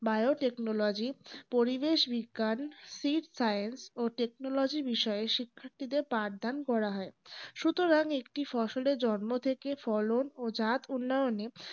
biotechnology পরিবেশ বিজ্ঞান seed science technology বিষয়ে শিক্ষার্থীদের উপাদান করা হয় সুতরাং একটি ফসলকে জন্ম থেকে ফলন ও জাত উন্নয়নে